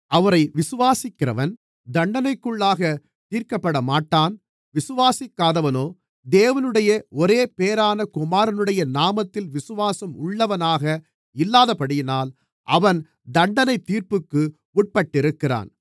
அவரை விசுவாசிக்கிறவன் தண்டனைக்குள்ளாகத் தீர்க்கப்படமாட்டான் விசுவாசிக்காதவனோ தேவனுடைய ஒரேபேறான குமாரனுடைய நாமத்தில் விசுவாசம் உள்ளவனாக இல்லாதபடியினால் அவன் தண்டனைத்தீர்ப்புக்கு உட்பட்டிருக்கிறான்